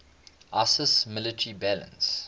iiss military balance